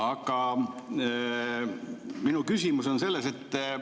Aga minu küsimus on selline.